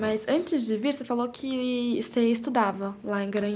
Mas, antes de vir, você falou que você estudava lá em Garanhuns.